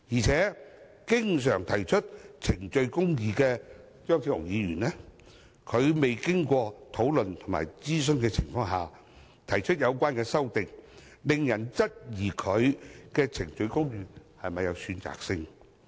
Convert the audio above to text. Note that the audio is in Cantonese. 此外，經常提倡程序公義的張超雄議員，在未經討論和諮詢的情況下提出有關修正案，令人質疑他的程序公義是否有選擇性。